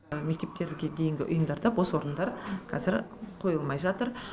мектепке дейінгі ұйымдарда бос орындар қазір қойылмай жатыр